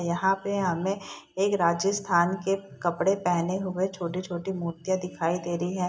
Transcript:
यहाँ पे हमें एक राजस्थान के कपड़े पहने हुए छोटे-छोटे मूर्तियां दिखाई दे रही हैं।